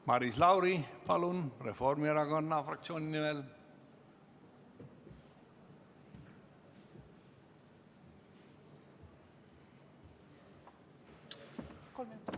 Maris Lauri, palun, Reformierakonna fraktsiooni nimel!